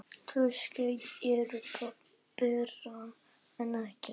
Tvö skeyti eru betra en ekkert.